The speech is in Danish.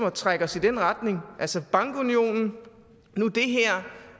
at trække os i den retning bankunionen nu det her